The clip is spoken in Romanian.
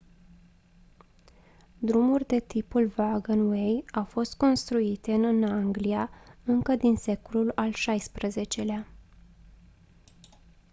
drumuri de tipul wagonway au fost construite în anglia încă din secolul al xvi-lea